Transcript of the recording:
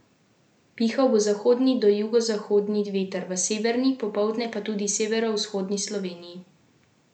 Pihal bo zahodni do jugozahodni veter, v severni, popoldne pa tudi v severovzhodni Sloveniji severozahodnik.